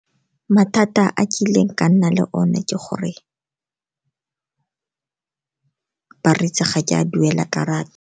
Mathata a kileng ka nna le o ne ke gore ba ritse ga ke a duela karata.